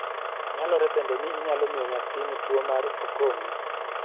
Nyalore bende ni inyalo miyo nyathini tuwo mar okomi